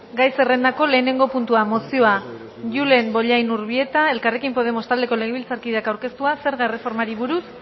gai zerrendako lehenengo puntua mozioa julen bollain urbieta elkarrekin podemos taldeko legebiltzarkideak aurkeztua zerga erreformari buruz